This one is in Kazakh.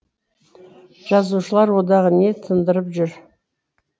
жазушылар одағы не тындырып жүр